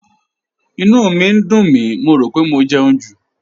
Ìnú mi ń dùn mí, mo rò pé mo jẹun jù